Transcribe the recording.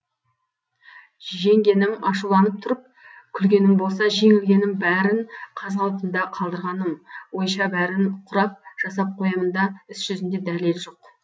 жеңгенім ашуланып тұрып күлгенім болса жеңілгенім бәрін қаз қалпында қалдырғаным ойша бәрін құрап жасап қоямын да іс жүзінде дәлел жоқ